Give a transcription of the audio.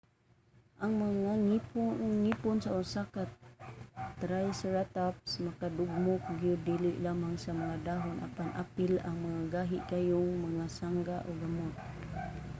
ang mga ngipon sa usa ka triceratops makadugmok gyud dili lamang sa mga dahon apan apil ang mga gahi kaayo nga sanga ug gamot